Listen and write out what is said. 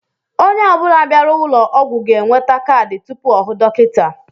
Onye ọ bula bịara ụlọ ọgwụ ga-enweta kaadị tụpụ ọ hụ dọkịta.